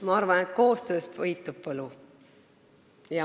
Ma arvan, et koostöös peitub võlu.